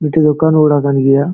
ᱢᱤᱫᱛᱮᱡ ᱫᱚᱠᱟᱱ ᱳᱲᱟᱜ ᱠᱟᱱ ᱜᱤᱭᱟ᱾